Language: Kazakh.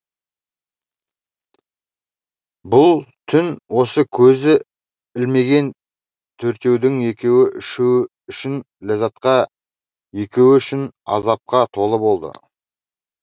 бұл түн осы көз ілмеген төртеудің екеуі үшін ләззатқа екеуі үшін азапқа толы болды